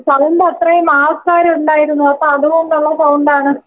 Sound അത്രേം ആൾക്കാരുണ്ടായിരുന്നു അപ്പോ അതുകൊണ്ടുള്ള സൗണ്ടാണ്.